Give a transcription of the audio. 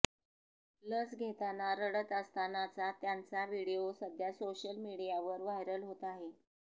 लस घेताना रडत असतानाचा त्यांचा व्हिडीओ सध्या सोशल मीडियावर व्हायरल होत आहे